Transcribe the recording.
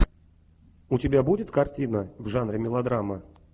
у тебя будет картина в жанре мелодрама